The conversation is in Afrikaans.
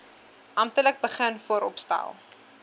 amptelik begin vooropstel